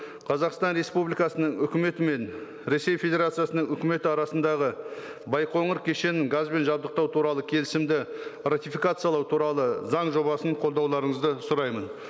қазақстан республикасының үкіметі мен ресей федерациясының үкіметі арасындағы байқоңыр кешенін газбен жабдықтау туралы келісімді ратификациялау туралы заң жобасын қолдауларыңызды сұраймын